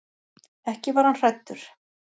Ekki var hann hræddur.